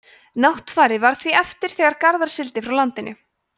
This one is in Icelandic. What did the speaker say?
náttfari varð því eftir þegar garðar sigldi frá landinu